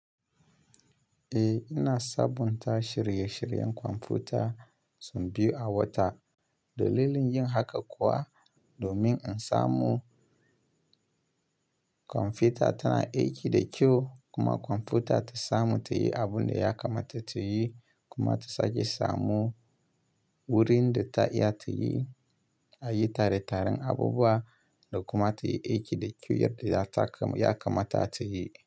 Eh, ina sabunta shirye-shiryen kwamfuta sau biyu a wata. Dalilin yin haka kuwa domin in samu kwamfuta tana aiki da kyau kuma kwamfuta ta samu ta yi abun da ya kamata ta yi kuma ta sake samu wurin da ta iya ta yi a yi tare taren abubuwa da kuma ta yi aiki da kyau yadda ya kamata ta yi.